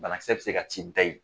Banakisɛ be se ka t'i da ye